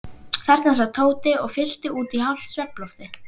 Þarna sat Tóti og fyllti út í hálft svefnloftið.